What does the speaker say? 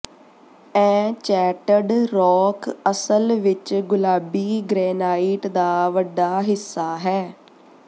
enchanted Rock ਅਸਲ ਵਿੱਚ ਗੁਲਾਬੀ ਗ੍ਰੇਨਾਈਟ ਦਾ ਵੱਡਾ ਹਿੱਸਾ ਹੈ